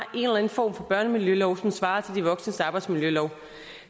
en form for børnemiljølov som svarer til de voksnes arbejdsmiljølov